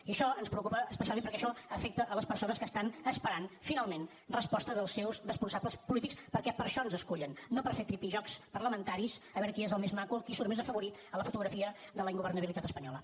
i això ens preocupa especialment perquè això afecta les persones que estan esperant finalment resposta dels seus responsables polítics perquè per això ens escullen no per fer tripijocs parlamentaris a veure qui és el més maco qui surt més afavorit en la fotografia de la ingovernabilitat espanyola